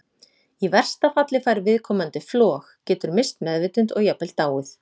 Í versta falli fær viðkomandi flog, getur misst meðvitund og jafnvel dáið.